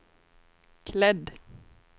klädd